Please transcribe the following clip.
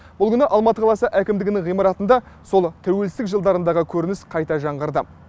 бұл күні алматы қаласы әкімдігінің ғимаратында сол тәуелсіздік жылдарындағы көрініс қайта жаңғырды